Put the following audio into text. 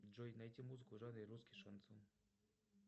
джой найти музыку в жанре русский шансон